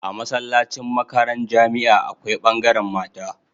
A masallacin makaran jamia akwai bangaran mata